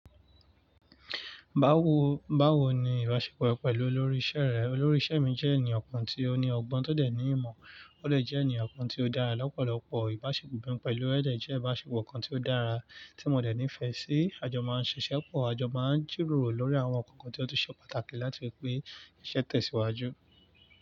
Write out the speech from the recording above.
Bawo, bawo ni ìbáṣepọ̀ ẹ pẹ̀lú olórí iṣẹ́ rẹ? Olórí iṣẹ́ mi jẹ́ ènìyàn kan tí ó ní ọgbọ́n tó dẹ̀ ní ìmọ̀, ó dẹ̀ jẹ́ ènìyàn kan tí ó dára lọ́pọ̀lọpọ̀. Ìbáṣepọ̀ mi pẹ̀lú rẹ̀ dẹ̀ jẹ́ ìbáṣepọ̀ kan tí ó dára tí mo dẹ̀ nífẹ̀ẹ́ sí. A jọ máa ń ṣiṣẹ́ pọ̀, a jọ máa ń jìrọ̀rọ̀ lórí àwọn nǹkan kan tí ó ṣe pàtàkì láti fi pé iṣẹ́ tẹ̀síwájú.